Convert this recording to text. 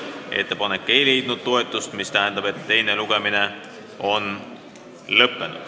Ettepanek ei leidnud toetust, mis tähendab, et teine lugemine on lõppenud.